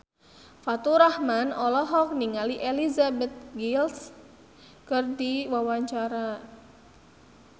Faturrahman olohok ningali Elizabeth Gillies keur diwawancara